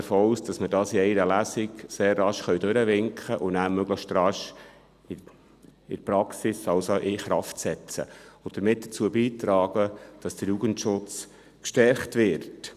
Ich gehe davon aus, dass wir dies in einer Lesung sehr rasch durchwinken und nachher möglichst rasch in die Praxis überführen, also in Kraft setzen können und damit dazu beitragen, dass der Jugendschutz gestärkt wird.